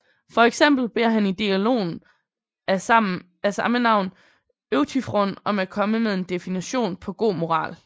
For eksempel beder han i dialogen af samme navn Euthyfron om at komme med en definition på god moral